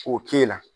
K'o k'e la